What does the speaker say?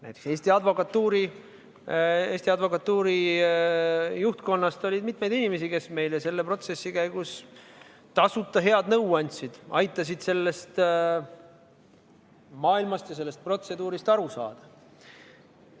Näiteks Eesti Advokatuuri juhtkonnas oli mitmeid inimesi, kes meile selle protsessi käigus tasuta head nõu andsid, aitasid sellest maailmast ja sellest protseduurist aru saada.